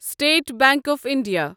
state Bank of India